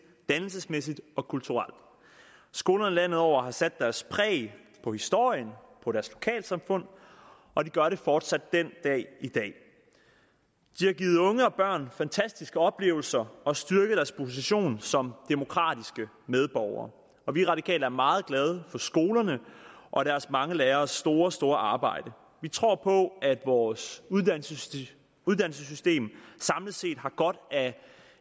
dannelsesmæssigt og kulturelt skolerne landet over har sat deres præg på historien på deres lokalsamfund og de gør det fortsat den dag i dag de har givet unge og børn fantastiske oplevelser og styrket deres position som demokratiske medborgere og vi radikale er meget glade for skolerne og deres mange læreres store store arbejde vi tror på at vores uddannelsessystem uddannelsessystem samlet set har godt af